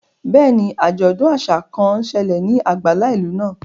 Bẹ́ẹ̀ni, ajọdun aṣa kan n ṣẹlẹ ni agbala ilu naa.